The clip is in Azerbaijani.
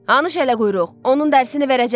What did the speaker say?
Hanı şələquyruq, onun dərsini verəcəm.